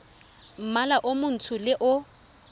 mmala o montsho le o